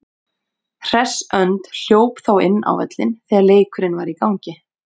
Hress önd hljóp þá inn á völlinn þegar leikurinn var í gangi.